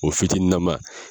O fitini nama